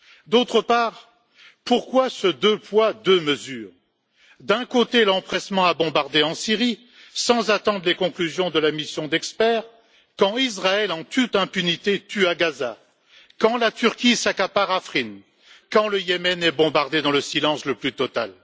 D'autre part, pourquoi ce deux poids, deux mesures? D'un côté, l'empressement à bombarder en Syrie sans attendre les conclusions de la mission d'experts quand Israël, en toute impunité, tue à Gaza, quand la Turquie s'accapare Afrine et quand le Yémen est bombardé dans le silence le plus total.